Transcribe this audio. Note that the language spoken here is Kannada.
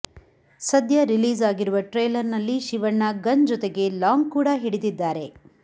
ಸದ್ಯ ರಿಲೀಸ್ ಆಗಿರುವ ಟ್ರೈಲರ್ ನಲ್ಲಿ ಶಿವಣ್ಣ ಗನ್ ಜೊತೆಗೆ ಲಾಂಗ್ ಕೂಡ ಹಿಡಿದಿದ್ದಾರೆ